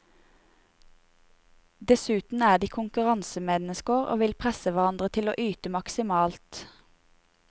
Dessuten er de konkurransemennesker og vil presse hverandre til å yte maksimalt.